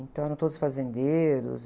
Então eram todos fazendeiros.